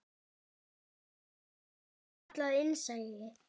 Líklega er það kallað innsæi.